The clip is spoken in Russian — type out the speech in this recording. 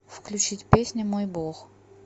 включить песня мой бог